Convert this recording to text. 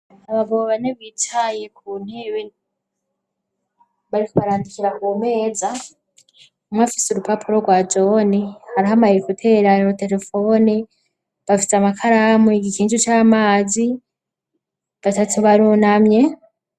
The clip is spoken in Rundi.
Abagabo bane bicaye ku ntebe bariko barandikira ku meza, umwe afise urupapuro rwa jone, hariho ama ekutere na terefone, bafise amakaramu, igikinju c'amazi, batatu barunamye.